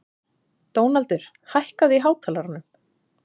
Dónaldur, hækkaðu í hátalaranum.